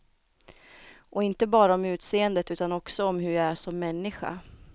Och inte bara om utseendet utan också om hur jag är som människa.